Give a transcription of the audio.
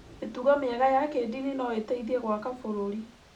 mĩtugo mĩega ya kĩndini no ĩteithie gwaka bũrũri